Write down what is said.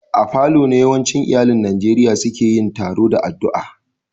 A falo ne yawancin iyallin Nijeriya seke yin taroa da addua.